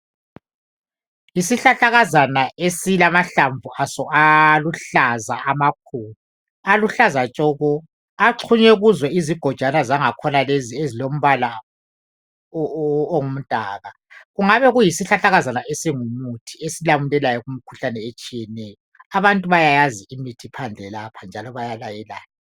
Yisihlahlakaza esilamahlamvu aso aluhlaza amakhulu. Aluhlaza tshoko. Axhunywe kuzo izigojwana zangakhona lezi ezilombala ongumdaka. Kungabe kuyisihlahlakaza esingumuthi esilamulelayo kumikhuhlane etshiyeneyo. Abantu bayayazi imithi phandle lapha njalo bayalayelana.